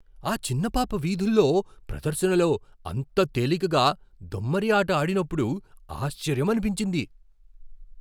ఆ చిన్న పాప వీధుల్లో ప్రదర్శనలో అంత తేలికగా దొమ్మరి ఆట ఆడినప్పుడు ఆశ్చర్యమనిపించింది.